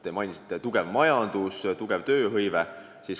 Te mainisite tugevat majandust ja suurt tööhõivet.